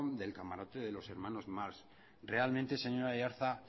del camarote de los hermanos marx realmente señor aiartza